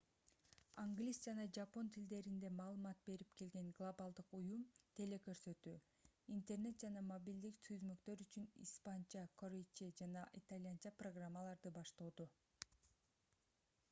англис жана жапон тилдеринде маалымат берип келген глобалдык уюм теле-көрсөтүү интернет жана мобилдик түзмөктөр үчүн испанча корейче жана итальянча программаларды баштоодо